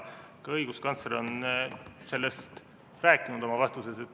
Ka õiguskantsler on sellest rääkinud oma vastuses.